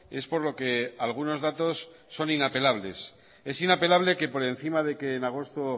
es por lo que algunos datos son inapelables es inapelable que por encima de que en agosto